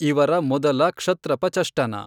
ಇವರ ಮೊದಲ ಕ್ಷತ್ರಪ ಚಷ್ಟನ.